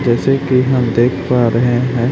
जैसे कि हम देख पा रहे हैं।